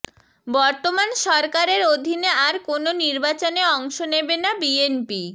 বর্তমান সরকারের অধীনে আর কোনো নির্বাচনে অংশ নেবে না বিএনপি